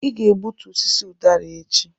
ị ga-egbutu osisi ụdara a echi!